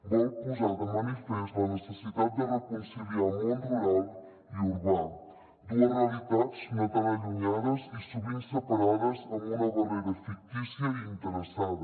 vol posar de manifest la necessitat de reconciliar món rural i urbà dues realitats no tan allu·nyades i sovint separades amb una barrera fictícia i interessada